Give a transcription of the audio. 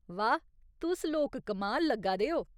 वाह्, तुस लोक कमाल लग्गा दे ओ।